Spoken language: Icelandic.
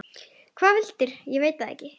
Hvað veldur, veit ég ekki.